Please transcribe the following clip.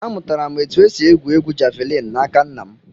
Amụtara m otu esi égwù égwú javịlịn n'aka nna m